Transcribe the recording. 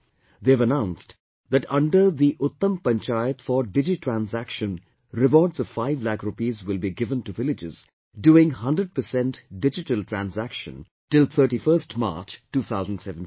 They have announced that under the 'Uttam Panchayat for DigiTransaction', rewards of 5 lakh rupees will be given to villages doing 100% digital transaction till 31st March, 2017